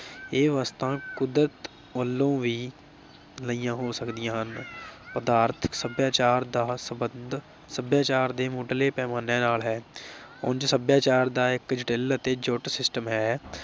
ਇਹ ਵਸਤਾਂ ਕੁਦਰਤ ਵਲੋਂ ਵੀ ਲਈਆਂ ਹੋ ਸਕਦੀਆਂ ਹਨ। ਪਦਾਰਥਕ ਸਭਿਆਚਾਰ ਦਾ ਸੰਬੰਧ ਸਭਿਆਚਾਰ ਦੇ ਮੁੱਢਲੇ ਪੈਮਾਨੇ ਨਾਲ ਹੈ। ਉਂਝ ਸਭਿਆਚਾਰ ਇਕ ਜਟਿਲ ਅਤੇ ਜੁੱਟ system ਹੈ ।